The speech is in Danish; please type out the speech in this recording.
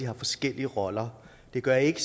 har forskellige roller det gør ikke